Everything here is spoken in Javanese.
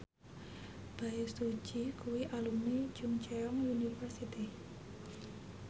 Bae Su Ji kuwi alumni Chungceong University